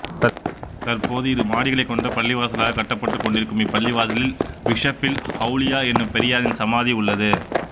தற்போது இரு மாடிகளைக் கொண்ட பள்ளிவாசலாகக் கட்டப்பட்டுக் கொண்டிருக்கும் இப்பள்ளிவாசலில் பீஸபில் ஒளலியா என்னும் பெரியாரின் சமாதி உள்ளது